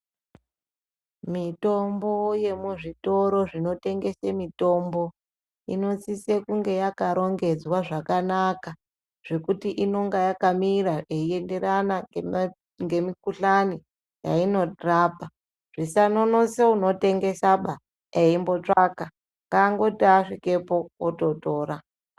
Mitombo yemuzvitoro zvinotengese mitombo inosise kunge yakarongedzwa zvakanaka zvekuti inenge yakamira eienderana ngema ngemukhuhlani yainorapa zvisambononose unotengesaba eimbotsvaka ngaangoti asvikepo ototora.